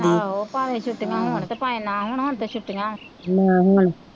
ਆਹੋ ਭਾਵੇ ਛਿਟਿਆ ਹੋਣ ਤੇ ਭਏ ਨਾਂ ਹੋਣ ਹੁਣ ਤੇ ਛੁੱਟਿਆ,